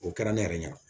O kɛra ne yɛrɛ ɲɛ